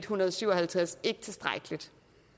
hundrede og syv og halvtreds ikke tilstrækkelig